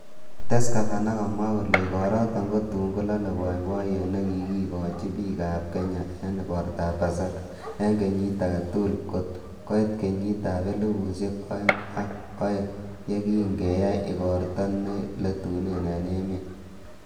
Kites Gavana komwa kole, igoroton kotun kolole boiboiyet nekikikochi bik ab kenya en igortab pasaka en kenyit agetugul kot koit kenyitab elfusiek oeng ak oeng, yekin keyai igorto ne letunee en emet.